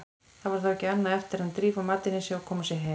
Þá var ekki annað eftir en drífa matinn í sig og koma sér heim.